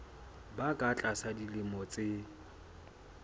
ba ka tlasa dilemo tse